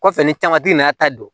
Kɔfɛ ni tangatigi nana ta don